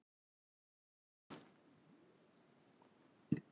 Svo vill til að orðið erfðatækni er skilgreint í fyrrnefndum lögum.